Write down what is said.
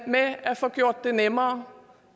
med at få gjort det nemmere